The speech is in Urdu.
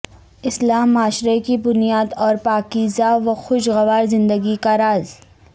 اصلاح معاشرہ کی بنیاد اورپاکیزہ وخوش گوار زندگی کا راز